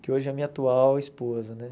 Que hoje é a minha atual esposa, né?